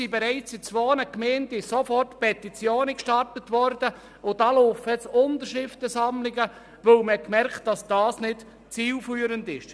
Bereits in zwei Gemeinden wurden sofort Petitionen gestartet, und es laufen Unterschriftensammlungen, weil man gemerkt hat, dass das nicht zielführend ist.